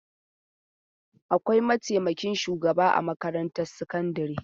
Akwai mataimakin shugaba a makarantar sakandare.